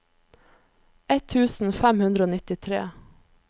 ett tusen fem hundre og nittitre